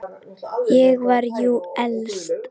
Ég var jú elst.